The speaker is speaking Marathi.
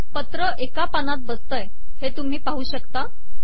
पत्र एका पानात बसते हे तुम्ही पाहू शकता